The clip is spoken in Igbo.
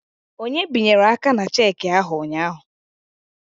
Onye binyere aka na cheki ahụ ụnyaahụ?